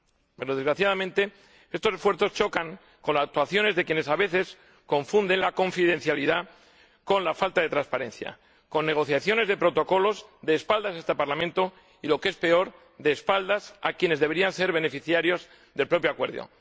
Pero, desgraciadamente, estos esfuerzos chocan con actuaciones de quienes, a veces, confunden la confidencialidad con la falta de transparencia, con negociaciones de protocolos a espaldas de este Parlamento, y lo que es peor, a espaldas de quienes deberían ser beneficiarios del propio acuerdo.